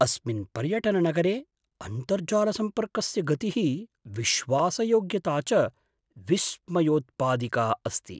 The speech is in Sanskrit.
अस्मिन् पर्यटननगरे अन्तर्जालसम्पर्कस्य गतिः विश्वासयोग्यता च विस्मयोत्पादिका अस्ति।